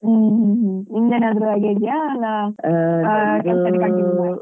ಹ್ಮ್ ನಿಂದೇನಾದ್ರು ಆಗಿದ್ಯಾ ಅಲ.